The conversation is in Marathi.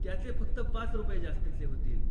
त्याचे फक्त पाच रुपये जास्तीचे होतील.